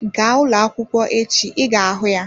Gaa ụlọ akwụkwọ echi ị ga-ahụ ya